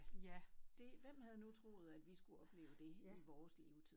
Ja dét hvem havde nu troet at vi skulle opleve dét i vores levetid